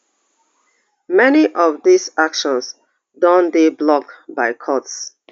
many of dis actions don dey blocked by courts